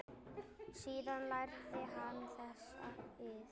Síðan lærði hann þessa iðn.